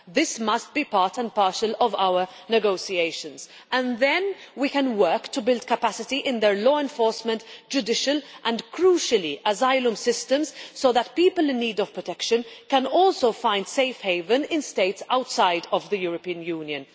This must be part and parcel of our negotiations, and then we can work to build capacity in their law enforcement, judicial and, crucially, asylum systems, so that people in need of protection can also find safe haven in states outside of the European Union.